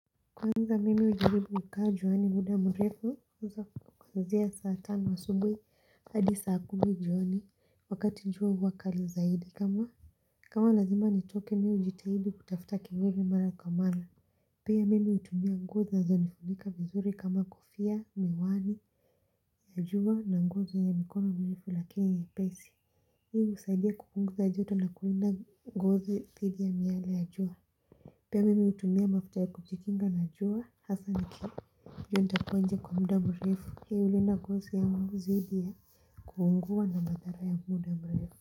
Kwanza mimi hujaribu kukaa juani muda mrefu kuanzia saa tano asubuhi hadi saa kumi jioni wakati jua huwa kali zaidi kama kama lazima nitoke nijitahidi kutafuta kivuli mara kwa mara Pia mimi hutumia nguo zinazonifunika vizuri kama kufia, miwani Najua na nguo za mikono mirefu lakini nyepesi ili kusaidia kupunguza joto na kulinda ngozi dhidi ya miale ya jua Pia mimi hutumia mafuta ya kujikinga na jua hasa niki endapo nje kwa muda mrefu hii hulinda ngozi yangu dhidi Kuungua na madhara ya muda mrefu.